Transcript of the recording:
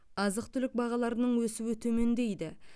азық түлік бағаларының өсуі төмендейді